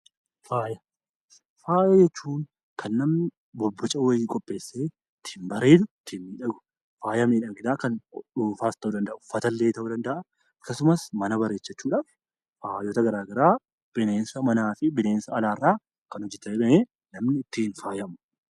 Faaya jechuun kan namni bobboca wayii qopheessee ittiin babbareedee faaya miidhaginaa qopheessu uffatallee ta'uu danda'a, mana ta'uu danda'a. Faayota garaagaraa bineensota manaa fi alaarraa kan hojjatamee namni ittiin faayamudha.